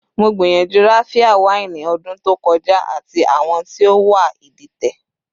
Mo gbiyanju Raphia waini odun to koja, ati awọn ti o wà iditẹ